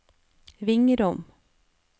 Vingrom